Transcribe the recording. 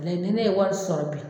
ni ne ye wari sɔrɔ bi